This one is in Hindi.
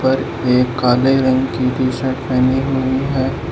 पर एक काले रंग की टी शर्ट पहनी हुई है।